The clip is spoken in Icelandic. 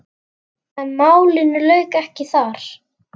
En málinu lauk ekki þar.